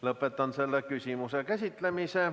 Lõpetan selle küsimuse käsitlemise.